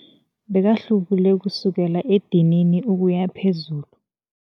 Bekahlubule kusukela edinini ukuya phezulu.